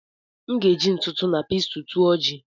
M ga-eji ntụ ntụ na pestle tụọ ji